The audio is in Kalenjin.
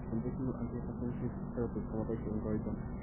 Conventional anti hypertensive therapies komaboisie eng koroiton